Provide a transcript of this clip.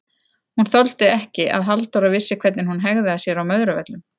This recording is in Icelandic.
Hún þoldi ekki að Halldóra vissi hvernig hún hegðaði sér á Möðruvöllum!